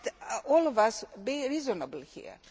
Let all of us be reasonable here.